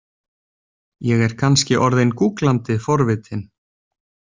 Ég er kannski orðin gúglandi forvitin.